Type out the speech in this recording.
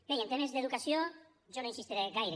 bé i en temes d’educació jo no insistiré gaire